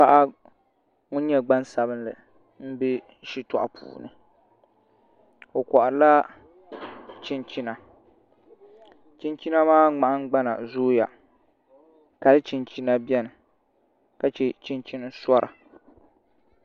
Paɣa ŋun nyɛ gbaŋsabinli n bɛ shitoɣu puuni o koharila chinchina chinchina maa ŋmahangbana zooya kali chinchina biɛni ka chɛ chinchini sora